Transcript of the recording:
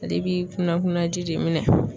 Ale bi kunna kunna ji de minɛ.